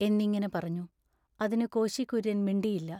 എന്നിങ്ങിനെ പറഞ്ഞു. അതിനു കോശി കുര്യൻ മിണ്ടിയില്ല.